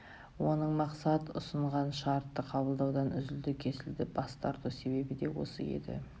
оның мақсат ұсынған шартты қабылдаудан үзілді-кесілді бас тарту себебі де осы еді